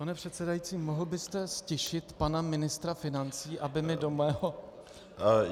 Pane předsedající, mohl byste ztišit pana ministra financí, aby mi do mého...